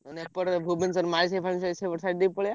ମାନେ ଏପଟେ ଭୁବନେଶ୍ବର ମାଳିସାହି ଫାଳିସାହି ପଟେ ଦେଇ ପଳେଇବା।